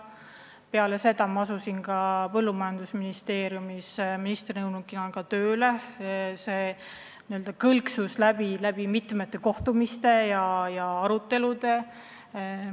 Pärast seda ma asusin põllumajandusministri nõunikuna tööle ja see idee n-ö kõlksus läbi mitmetel kohtumistel ja muudel aruteludel.